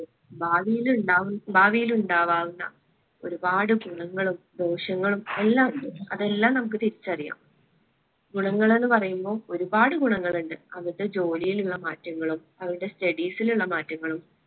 ഭാവിയിൽ ഉണ്ടാവുന്ന ഭാവിയിൽ ഉണ്ടാവാവുന്ന ഒരുപാട് ഗുണങ്ങളും ദോഷങ്ങളും എല്ലാ ഉണ്ട്. അതെല്ലാം നമ്മുക്ക് തിരിച്ചറിയാം. ഗുണങ്ങള് ന്ന്‌ പറയുമ്പം ഒരുപാട് ഗുണങ്ങളുണ്ട്. അവര്ടെ ജോലിയിലുള്ള മാറ്റങ്ങളും അവര്ടെ studies ഇലുള്ള മാറ്റങ്ങളും